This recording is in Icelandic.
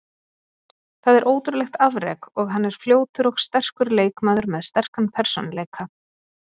Það er ótrúlegt afrek og hann er fljótur og sterkur leikmaður með sterkan persónuleika.